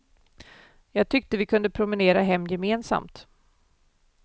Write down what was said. Jag tyckte vi kunde promenera hem gemensamt.